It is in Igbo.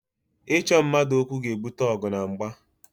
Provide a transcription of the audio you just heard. Ịchọ mmadụ okwu ga-ebute ọgụ na mgba